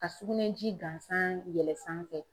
Ka sugunɛji gansan yɛlɛn sanfɛ